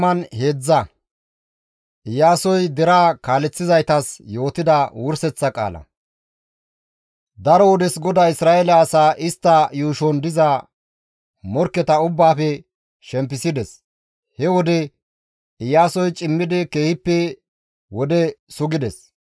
Daro wodes GODAY Isra7eele asaa istta yuushon diza morkketa ubbaafe shempisides. He wode Iyaasoy cimmidi keehippe wode sugides.